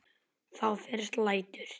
Þá fyrst lætur